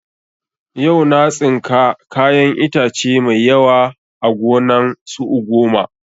Yau na tsinka kayan itace mai yawa a gonan su ugoma